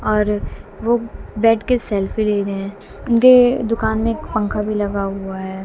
और वो बैठके सेल्फी ले रहे हैं उनके दुकान में एक पंखा भी लगा हुआ है।